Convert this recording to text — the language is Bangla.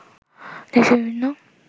দেশের বিভিন্ন